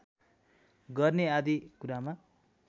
गर्ने आदि कुरामा